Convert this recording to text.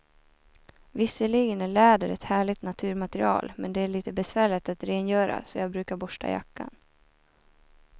Visserligen är läder ett härligt naturmaterial, men det är lite besvärligt att rengöra, så jag brukar borsta jackan.